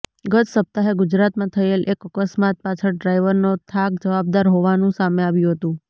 ગત સપ્તાહે ગુજરાતમાં થયેલા એક અકસ્માત પાછળ ડ્રાઇવરનો થાક જવાબદાર હોવાનું સામે આવ્યું હતું